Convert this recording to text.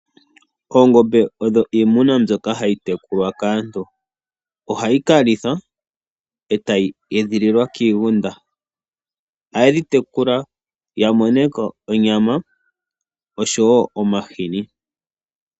Oongombe odho iimuna mbyoka hayi tekulwa kaantu. Ohadhi kalithwa , etayi edhililwa kiigunda . Ohaye dhi tekula yamoneko onyama oshowoo omahini.